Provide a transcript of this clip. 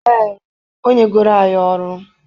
Ee, o nyegoro anyị ọrụ.